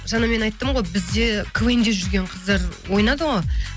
жаңа мен айттым ғой бізде квн де жүрген қыздар ойнады ғой